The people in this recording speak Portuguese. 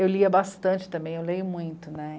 Eu lia bastante também, eu leio muito, né?